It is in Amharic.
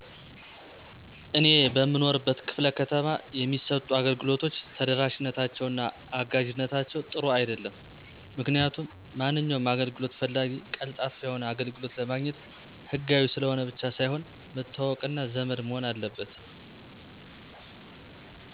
እኔ በምኖርበት ክ/ከተማ የሚሰጡ አገልግሎቶች ተደራሽነታቸው እና አጋዥነታቸው ጥሩ አይደለም. ምክንያቱም ማንኛውም አገልግሎት ፈላጊ ቀልጣፋ የሆነ አገልግሎት ለማግኘት ሕጋዊ ስለሆነ ብቻ ሳይሆን መተዋወቅ እና ዘመድ መሆን አለበት.